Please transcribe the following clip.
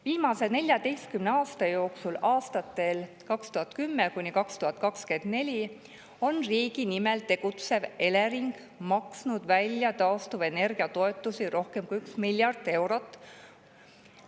Viimase 14 aasta jooksul, aastatel 2010–2024, on riigi nimel tegutsev Elering maksnud välja taastuvenergia toetusi rohkem kui 1 miljard eurot.